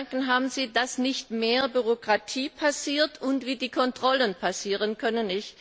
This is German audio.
Welche Gedanken haben Sie, damit nicht mehr Bürokratie entsteht und wie die Kontrollen erfolgen können?